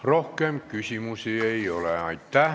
Rohkem küsimusi ei ole.